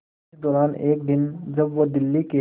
इसी दौरान एक दिन जब वो दिल्ली के